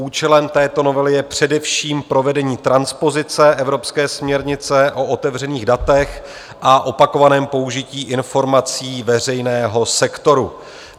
Účelem této novely je především provedení transpozice evropské směrnice o otevřených datech a opakovaném použití informací veřejného sektoru.